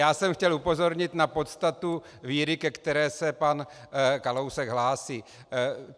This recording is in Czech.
Já jsem chtěl upozornit na podstatu víry, ke které se pan Kalousek hlásí.